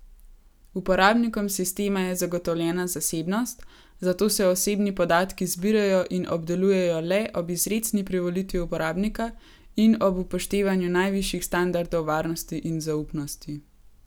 Uporabnikom sistema je zagotovljena zasebnost, zato se osebni podatki zbirajo in obdelujejo le ob izrecni privolitvi uporabnika in ob upoštevanju najvišjih standardov varnosti in zaupnosti.